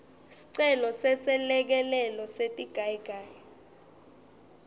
sicelo seselekelelo setigayigayi